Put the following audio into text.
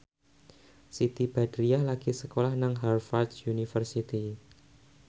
Siti Badriah lagi sekolah nang Harvard university